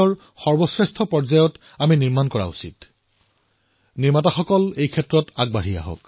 মোৰ দেশৰ নিৰ্মাণকাৰীসকল আৰু ঔদ্যোগিক নেতৃত্বত মই আহ্বান জনাইছো দেশৰ জনতাই মজবুত পদক্ষেপ গ্ৰহণ কৰিছে মজবুত খোজ আগবঢ়াইছে